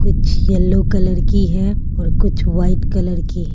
कुछ yellow colour की है और कुछ व्हाइट कलर की है।